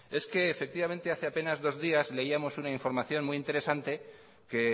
es que hace apenas dos días leíamos una información muy interesante que